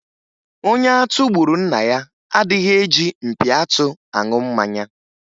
Onye atụ gburu nna ya adịghi eji mpi atụ aṅụ mmanya.